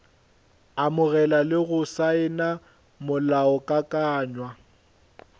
amogela le go saena molaokakanywa